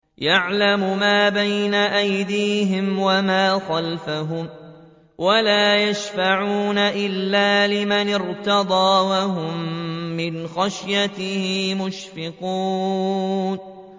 يَعْلَمُ مَا بَيْنَ أَيْدِيهِمْ وَمَا خَلْفَهُمْ وَلَا يَشْفَعُونَ إِلَّا لِمَنِ ارْتَضَىٰ وَهُم مِّنْ خَشْيَتِهِ مُشْفِقُونَ